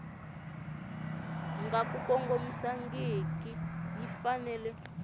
nga ku kongomangiki yi fanele